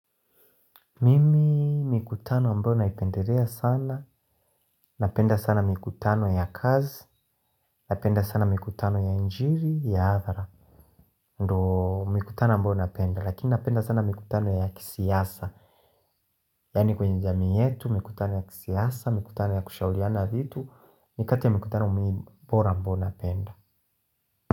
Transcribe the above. Mimi mikutano ambayo naipendelea sana, napenda sana mikutano ya kazi, napenda sana mikutano ya injili, ya hadhara. Ndiyo mikutano ambayo napenda, lakini napenda sana mikutano ya kisiasa. Yani kwenye jamii yetu, mikutano ya kisiasa, mikutano ya kushauriana vitu, ni kati ya mikutano muhimu bora ambayo napenda.